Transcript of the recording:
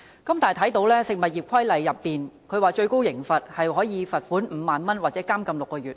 根據《食物業規例》，最高刑罰是罰款5萬元或監禁6個月。